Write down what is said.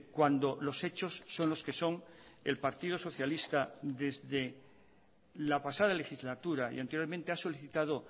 cuando los hechos son los que son el partido socialista desde la pasada legislatura y anteriormente ha solicitado